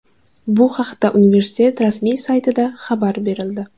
Bu haqda universitet rasmiy saytida xabar berildi .